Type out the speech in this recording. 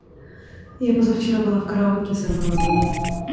я позавчера была в караоке сорвала голос